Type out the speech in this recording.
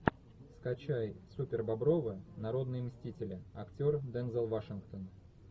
скачай супербобровы народные мстители актер дензел вашингтон